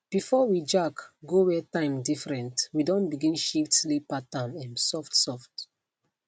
before we jack go where time different we don begin shift sleep pattern um softsoft